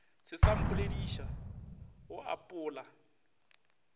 se sa mpolediša o apola